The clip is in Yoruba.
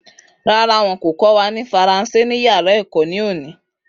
Rárá, wọn kò kọ́ wa ní faransé ní yàrá èkó ní òní